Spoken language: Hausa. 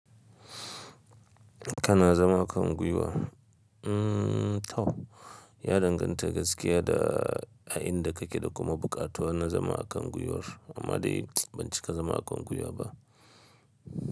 Kana zama a kan gwiwa ehmm? To, ya danganta gaskiya da a inda kake da kuma buƙatuwa na zama a kan gwiwar. Amma dai ban cika zama a kan gwiwa ba.